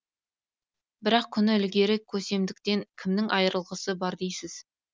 бірақ күні ілгері көсемдіктен кімнің айырылығысы бар дейсіз